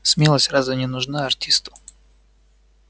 смелость разве не нужна артисту